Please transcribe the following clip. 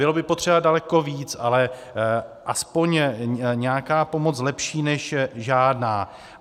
Bylo by potřeba daleko víc, ale aspoň nějaká pomoc, lepší než žádná.